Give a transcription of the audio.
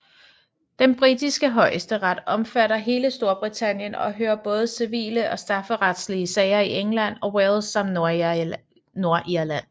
Den britiske højesteret omfatter hele Storbritannien og hører både civile og strafferetlige sager i England og Wales samt Nordirland